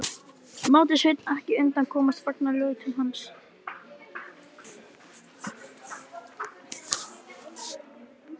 Mátti Sveinn ekki undan komast fagnaðarlátum hans.